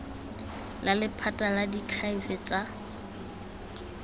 la lephata la diakhaefe tsa